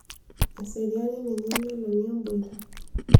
eseriani ninye emeloni emboita